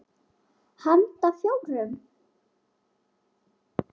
Handa fjórum